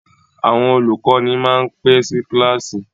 Àwọn olùkọ́ni máa ń pẹ́ sí kíláàsì.